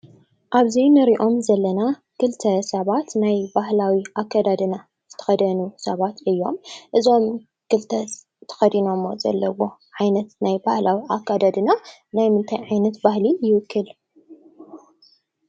ኣብዚ ንሪኦም ዘለና ክልተ ሰባት ናይ ባህላዊ ኣካዳድና ዝተኸደኑ ሰባት እዮም፡፡ እዞም ክልተ ተኸዲኖሞ ዘለዎ ዓይነት ናይ ባህላዊ ኣካዳድና ናይ ምንታይ ዓይነት ባህሊ ይውክል?